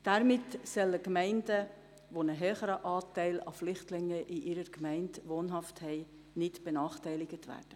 Damit sollen Gemeinden mit einem höheren Anteil von Flüchtlingen nicht benachteiligt werden.